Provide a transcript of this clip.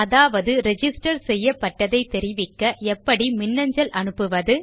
அதாவது ரிஜிஸ்டர் செய்யப்பட்டதை தெரிவிக்க எப்படி மின்னஞ்சல் அனுப்புவது